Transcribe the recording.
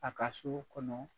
A ka so kɔnɔ